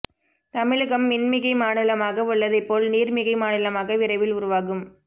தமிழகம் மின்மிகை மாநிலமாக உள்ளதை போல் நீர் மிகை மாநிலமாக விரைவில் உருவாகும்